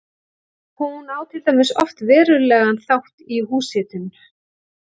Hún á til dæmis oft verulegan þátt í húshitun.